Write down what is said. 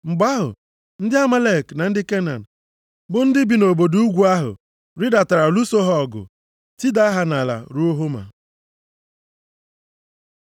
Mgbe ahụ, ndị Amalek na ndị Kenan bụ ndị bi nʼobodo ugwu ahụ, rịdatara lụso ha ọgụ. Tidaa ha nʼala ruo Homa.